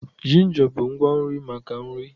Ginja bụ ngwa nri maka nri